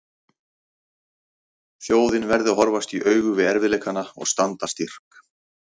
Þjóðin verði að horfast í augu við erfiðleikana og standa styrk.